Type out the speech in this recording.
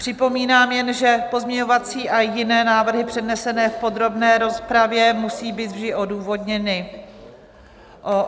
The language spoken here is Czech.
Připomínám jen, že pozměňovací a jiné návrhy přednesené v podrobné rozpravě musí být vždy odůvodněny.